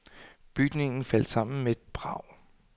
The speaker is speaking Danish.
Bygningen faldt sammen med et brag.